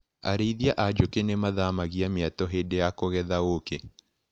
Arĩithia a njũkĩ nĩmathamagia mĩatũ hĩndĩ ya kũgetha ũkĩ.